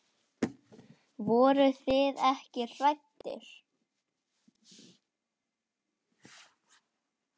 Voruð þið ekkert hrædd?